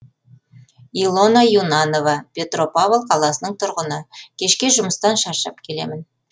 илона юнанова петропавл қаласының тұрғыны кешке жұмыстан шаршап келемін